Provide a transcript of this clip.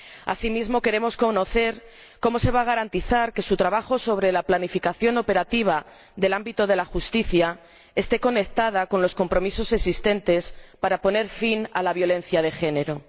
Asimismo, queremos conocer cómo se va a garantizar que su trabajo sobre la planificación operativa del ámbito de la justicia esté conectada con los compromisos existentes para poner fin a la violencia de género.